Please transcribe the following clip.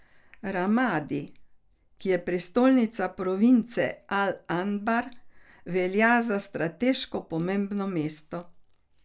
Ramadi, ki je prestolnica province al Anbar, velja za strateško pomembno mesto.